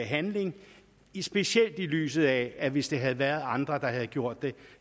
handling specielt i lyset af at hvis det havde været andre der havde gjort det